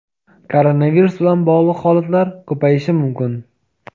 koronavirus bilan bog‘liq holatlar ko‘payishi mumkin.